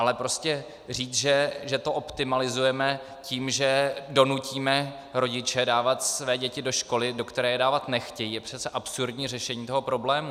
Ale prostě říct, že to optimalizujeme tím, že donutíme rodiče dávat své děti do školy, do které je dávat nechtějí, je přece absurdní řešení toho problému.